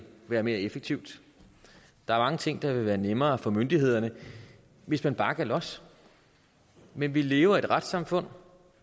være mere effektive der er mange ting der ville være nemmere for myndighederne hvis man bare gav los men vi lever i et retssamfund